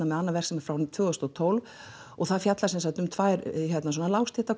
með annað verk sem er frá tvö þúsund og tólf og það fjallar um tvær